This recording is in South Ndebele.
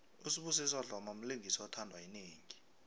usibusiso dlomo mlingisi othandwa yinengi